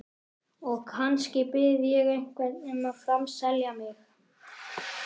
Og kannski bið ég einhvern um að framselja mig.